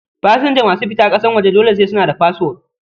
Pasanja masu fita ƙasan waje dole sai suna da fasfo